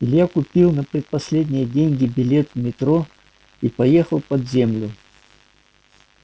илья купил на предпоследние деньги билет в метро и поехал под землю